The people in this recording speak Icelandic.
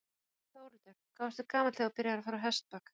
Þórhildur: Hvað varstu gamall þegar þú byrjaðir að fara á hestbak?